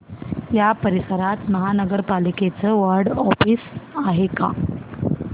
या परिसरात महानगर पालिकेचं वॉर्ड ऑफिस आहे का